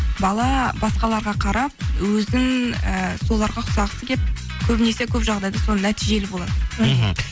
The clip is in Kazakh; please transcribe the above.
бала басқаларға қарап өзін ііі соларға ұқсағысы келіп көбінесе көп жағдайда сол нәтижелі болады мхм